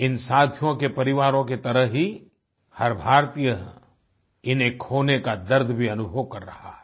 इन साथियों के परिवारों की तरह ही हर भारतीय इन्हें खोने का दर्द भी अनुभव कर रहा है